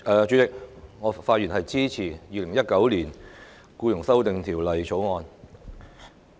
主席，我發言支持《2019年僱傭條例草案》。